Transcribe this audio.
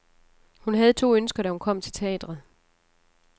Hun havde to ønsker, da hun kom til teatret.